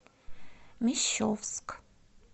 мещовск